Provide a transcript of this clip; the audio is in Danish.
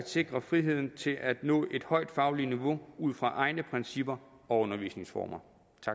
sikre friheden til at nå et højt fagligt niveau ud fra egne principper og undervisningsformer